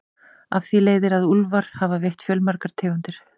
Af því leiðir að úlfar hafa veitt fjölmargar tegundir.